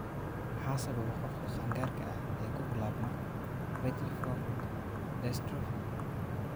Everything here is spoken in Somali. Maxaa sababa qofka qaangaarka ah ee ku bilaabma viteliform dystrophy?